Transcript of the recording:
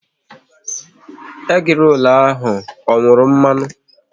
Egi rolu ahụ ọ nwuru mmanụ?